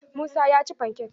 Musa ya ci fankek